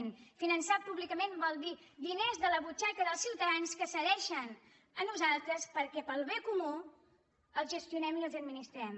i finançar públicament vol dir diners de la butxaca dels ciutadans que ens cedeixen a nosaltres perquè pel bé comú els gestionem i els administrem